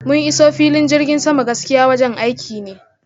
mun iso filin jirgin sama, gaskiya wajen aiki ne